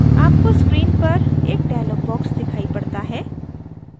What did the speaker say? आपको screen पर एक dialog box दिखाई पड़ता है